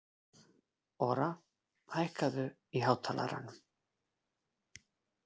Ora, hækkaðu í hátalaranum.